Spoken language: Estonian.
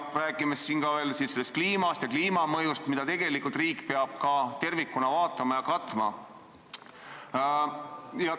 Rääkimata kliimamõjust, mida riik peab tervikuna vaatama.